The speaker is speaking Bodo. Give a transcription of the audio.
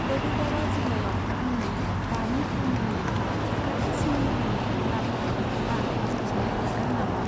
बड'दरा जिल्लायाव आंनि दानि थावनिनि साखाथिसिन मुलिनि गलाफोरखौ आं मिथिनो हागोन नामा?